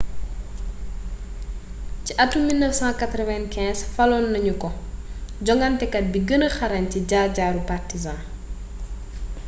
ci atum 1995 faloon nañu ko jonŋatekat bi gëna xarañ ci jaar-jaaru partizan